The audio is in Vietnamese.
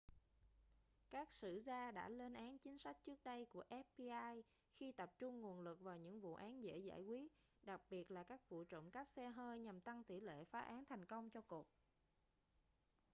các sử gia đã lên án chính sách trước đây của fbi khi tập trung nguồn lực vào những vụ án dễ giải quyết đặc biệt là các vụ trộm cắp xe hơi nhằm tăng tỷ lệ phá án thành công cho cục